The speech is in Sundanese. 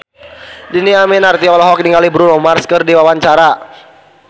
Dhini Aminarti olohok ningali Bruno Mars keur diwawancara